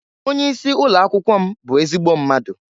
Onye isi ụlọakwụkwọ m bụ ezigbo mmadụ.